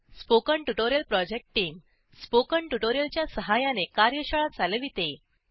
spoken tutorial project team spoken tutorial च्या सहाय्याने कार्यशाळा चालविते